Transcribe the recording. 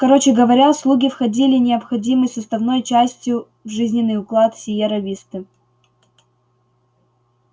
короче говоря слуги входили необходимой составной частью в жизненный уклад сиерра висты